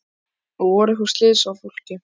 Jóhanna Margrét: Og voru einhver slys á fólki?